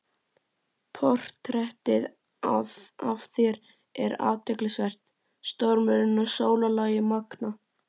Portrettið af þér er athyglisvert- stormurinn og sólarlagið magnað.